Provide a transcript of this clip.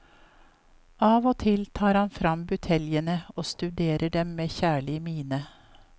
Av og til tar man frem buteljene og studerer dem med kjærlig mine.